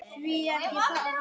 Árný Þóra.